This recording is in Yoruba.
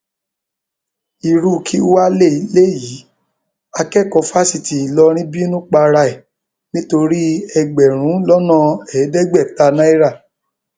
irú kí wàá lélẹyìí akẹkọọ fásitì ìlọrin bínú para ẹ nítorí ẹgbẹrún lọnà ẹẹdẹgbẹta náírà